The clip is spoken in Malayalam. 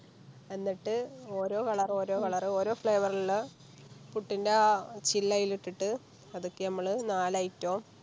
എന്നിട്ട് ഓരോ Colour ഓരോ Colour ഓരോ Flavour ൽ ഇള്ള പുട്ടിൻറെ ആ ചില്ല് ആയിലിട്ടിറ്റ പതുക്കെ ഞമ്മള് നാല് Item ഓം